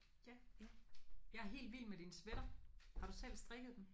Ja. Jeg er helt vild med din sweater. Har du selv strikket den?